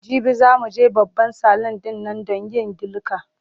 Jibi za mu je babban salun ɗin nan don yin dilka.